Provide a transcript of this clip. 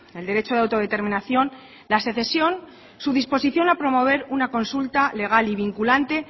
el derecho de autodeterminación la secesión su disposición a promover una consulta legal y vinculante